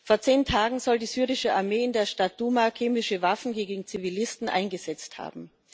Vor zehn Tagen soll die syrische Armee in der Stadt Duma chemische Waffen gegen Zivilisten eingesetzt haben.